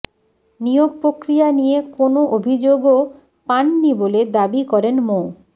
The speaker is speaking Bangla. নিয়োগ প্রক্রিয়া নিয়ে কোনো অভিযোগও পান নি বলে দাবি করেন মো